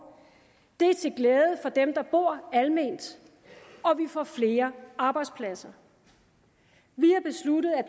det er til glæde for dem der bor alment og vi får flere arbejdspladser vi har besluttet at